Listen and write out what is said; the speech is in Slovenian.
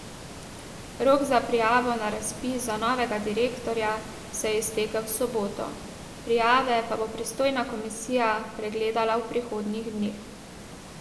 Rok za prijavo na razpis za novega direktorja se je iztekel v soboto, prijave pa bo pristojna komisija pregledala v prihodnjih dneh.